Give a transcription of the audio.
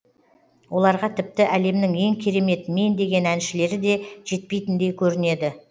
оларға тіпті әлемнің ең керемет мен деген әншілері де жетпейтіндей көрінеді